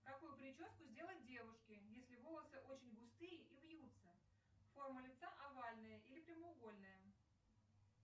какую прическу сделать девушке если волосы очень густые и вьются форма лица овальная или прямоугольная